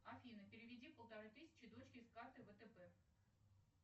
афина переведи полторы тысячи дочке с карты втб